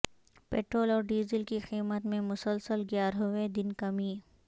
petrol اور diesel کی قیمت میں مسلسل گیارہویں دن کمی